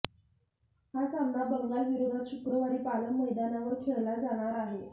हा सामना बंगाल विरोधात शुक्रवारी पालम मैदानावर खेळला जाणार आहे